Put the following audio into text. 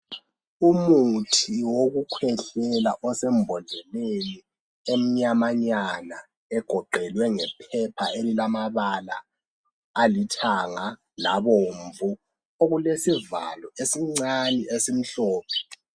Umuthi wokukhwehlela osembodleleni emnyamanyana egoqelwe ngephepha elilamabala alithanga labomvu ,okulesivalo esincane esimhlophe.